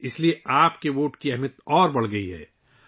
اس لیے آپ کے ووٹ کی اہمیت مزید بڑھ گئی ہے